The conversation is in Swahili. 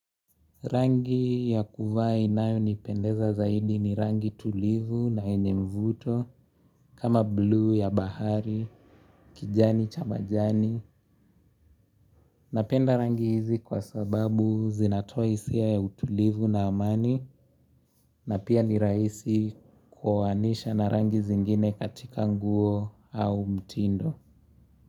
Rangi ya kuvaa inayonipendeza zaidi ni rangi tulivu na yenye mvuto kama blue ya bahari, kijani, cha majani. Napenda rangi hizi kwa sababu zinatoa hisia ya utulivu na amani na pia ni raisi kuoanisha na rangi zingine katika nguo au mtindo.